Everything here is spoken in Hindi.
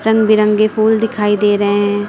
रंग बिरंगे फूल दिखाई दे रहे हैं।